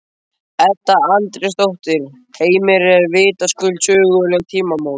Edda Andrésdóttir: Heimir, þetta eru vitaskuld söguleg tímamót?